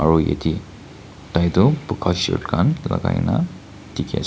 aro ede tai toh buga shirt khan lagai na dikhise.